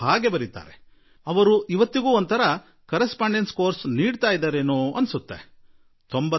ಒಂದು ರೀತಿಯಲ್ಲಿ ನಾನು ಇವತ್ತಿಗೂ ಒಂದು ರೀತಿಯ ಅoಡಿಡಿesಠಿoಟಿಜeಟಿಛಿe ಅouಡಿse ಮಾಡುತ್ತಿರುವೆ